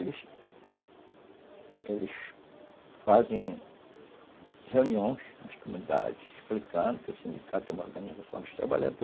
Eles, eles fazem reuniões nas comunidades explicando que o sindicato é uma organização dos trabalhadores.